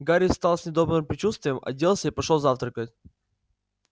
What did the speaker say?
гарри встал с недобрым предчувствием оделся и пошёл завтракать